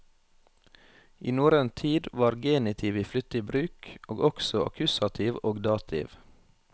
I norrøn tid var genitiv i flittig bruk, og også akkusativ og dativ.